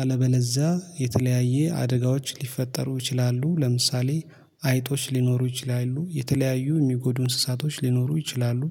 አለበለዛ የተለያየ አደጋዎች ሊፈጠሩ ይችላሉ። ለምሳሌ አይጦች ሊኖሩ ይችላሉ የተለያዩ የሚጎዱ እንስሳቶች ሊኖሩ ይችላሉ